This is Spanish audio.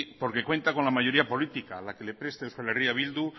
porque cuenta con la mayoría política la que le presta euskal herria bildu